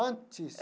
Antes?